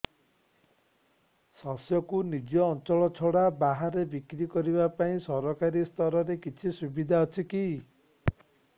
ଶସ୍ୟକୁ ନିଜ ଅଞ୍ଚଳ ଛଡା ବାହାରେ ବିକ୍ରି କରିବା ପାଇଁ ସରକାରୀ ସ୍ତରରେ କିଛି ସୁବିଧା ଅଛି କି